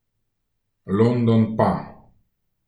London pa!